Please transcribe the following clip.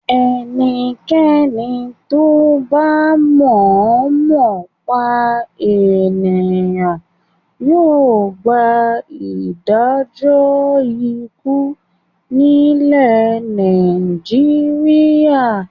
Ẹnikẹ́ni tó bá mọ̀ọ́mọ̀ pa ènìyàn yóò gba ìdájọ́ ikú nílẹ̀ Nàìjíríà.